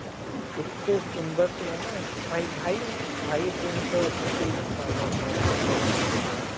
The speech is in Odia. ଏତେ ସୁନ୍ଦର ଥିଲା ନା ଭାଇ ଭାଇ ଏମିତି ଭାଇ ଏତେ ଜିନିଷ ବେଶୀ ମାନେନି ହେଲା ଭଗବାନ ଏତେ ମାନେନି